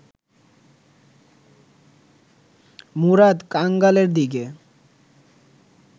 মুরাদ কাঙালের দিকে